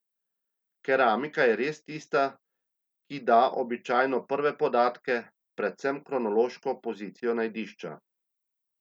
Keramika je res tista, ki da običajno prve podatke, predvsem kronološko pozicijo najdišča.